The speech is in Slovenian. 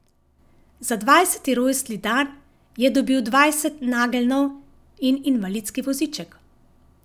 Za dvajseti rojstni dan je dobil dvajset nageljnov in invalidski voziček.